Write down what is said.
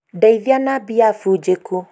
ndeĩithia na mbia bunjeku